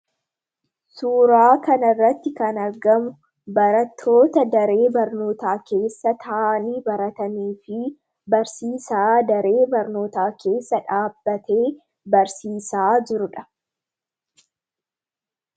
Suuraa kanarratti kan argamu barattoota daree barnootaa keessa taa'anii baratanii fi barsiisaan daree barootaa keessa dhaabbatee barsiisaa jirudha.